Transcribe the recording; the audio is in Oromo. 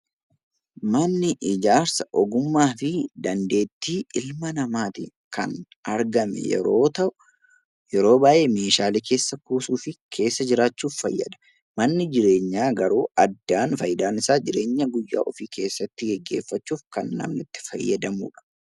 Manni ijaarsa ogummaa fi dandeettii ilma namaatiin kan argame yeroo ta'u, yeroo baay'ee meeshaalee keessa kuusuu fi keessa jiraachuuf fayyada. Manni jireenyaa garuu addaan faayidaan isaa jireenya guyyaa ofii keessattu geggeeffachuuf kan namni itti fayyadamu dha.